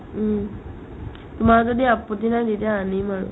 উম্, তোমাৰ যদি আপত্তি নাই তেতিয়া আনিম আৰু